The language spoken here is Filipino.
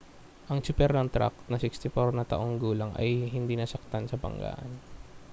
ang tsuper ng trak na 64 na taong gulang ay hindi nasaktan sa banggaan